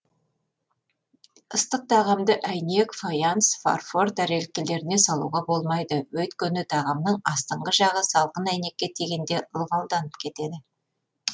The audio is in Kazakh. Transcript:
ыстық тағамды әйнек фаянс фарфор тәрелкелеріне салуға болмайды өйткені тағамның астыңғы жағы салқын әйнекке тигенде ылғалданып кетеді